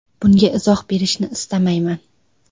Bunga izoh berishni istamayman.